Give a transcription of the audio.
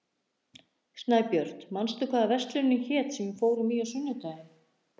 Snæbjört, manstu hvað verslunin hét sem við fórum í á sunnudaginn?